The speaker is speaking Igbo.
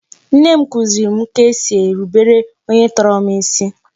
Nne m kuziri m ka e si erubere onye tọrọ m isi